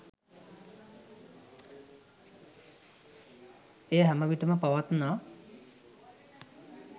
එය හැම විටම පවත්නා